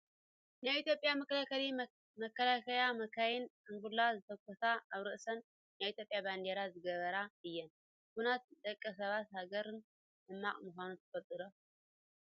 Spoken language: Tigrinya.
ናይ ኢትዮጵያ መከላከያ መካይን ጥንቡላ ዝትኩሳ ኣብ ርእሰን ናይ ኢትዮጵያ ባንዴራ ዝገበራ እየን። ኩናት ንደቂ ሰባትን ንሃገርን ሕማቅ ምኳኑ ትፈልጡ ዶ?